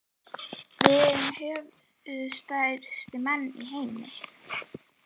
Við erum höfuðstærstu menn í heimi.